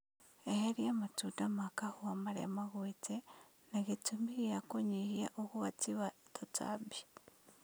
Eheria matunda ma kahũa marĩa magwite na gĩtũmi gĩa kũnyihia ũgwati wa tũtambi